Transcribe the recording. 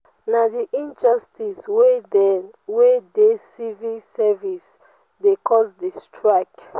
na di injustice wey dey wey dey civil service dey cause di strike.